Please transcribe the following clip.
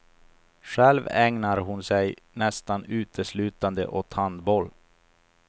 Själv ägnar hon sig nästan uteslutande åt handboll.